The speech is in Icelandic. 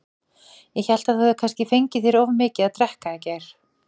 Ég hélt þú hefðir kannski fengið þér of mikið að drekka í gær.